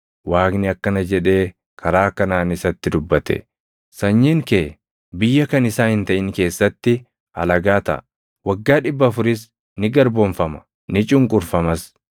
Waaqni akkana jedhee karaa kanaan isatti dubbate; ‘Sanyiin kee biyya kan isaa hin taʼin keessatti alagaa taʼa; waggaa dhibba afuris ni garboomfama; ni cunqurfamas.’